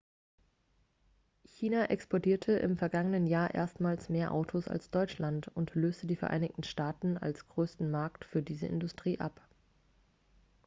china exportierte im vergangenen jahr erstmals mehr autos als deutschland und löste die vereinigten staaten als größten markt für diese industrie ab